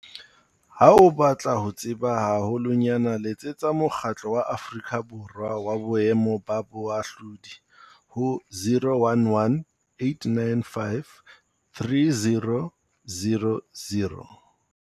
Ha o batla ho tseba haholonyane letsetsa Mokgatlo wa Aforika Borwa wa Boemo ba Bohahlaudi ho 011 895 3000.